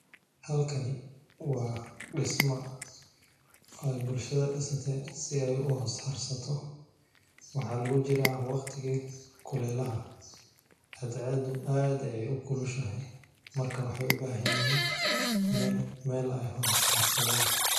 Halkani waa dhismaa ay bulshada dhisate si ay u ahoos harsato. Waxaa lagu jira waqtigii kuleelaha, hadceedu aad ayay u kulushahay markaan waxay u baahan yihiin meen meel ay hoos haarsadaan.